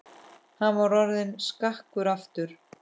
Hann var orðinn skakkur aftur.